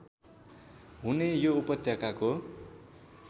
हुने यो उपत्यकाको